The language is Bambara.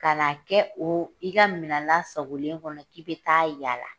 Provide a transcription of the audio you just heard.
Ka n'a kɛ o i ka minɛn lasagolen kɔnɔ k'i bɛ ta'a yaala